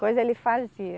Coisa ele fazia.